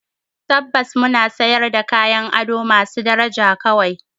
Tabbas! muna sayar da kayan ado masu daraja kawai